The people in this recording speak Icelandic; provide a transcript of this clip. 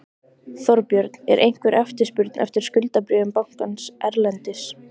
Þorbjörn: Er einhver eftirspurn eftir skuldabréfum bankans erlendis?